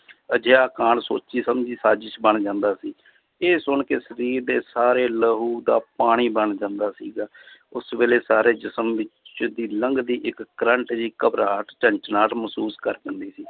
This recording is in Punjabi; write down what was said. ਅਜਿਹਾ ਕਾਂਡ ਸੋਚੀ ਸਮਝੀ ਸਾਜਿਸ਼ ਬਣ ਜਾਂਦਾ ਸੀ l ਇਹ ਸੁਣ ਕੇ ਸਰੀਰ ਦੇ ਸਾਰੇ ਲਹੂ ਦਾ ਪਾਣੀ ਬਣ ਜਾਂਦਾ ਸੀਗਾ ਉਸ ਵੇਲੇ ਸਾਰੇ ਜਿਸ਼ਮ ਵਿੱਚ ਦੀ ਲੰਘਦੀ ਇੱਕ ਕਰੰਟ ਜਿਹੀ ਘਬਰਾਹਟ ਝਣਝਣਾਹਟ ਮਹਿਸੂਸ ਕਰ